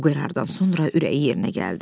Bu qərardan sonra ürəyi yerinə gəldi.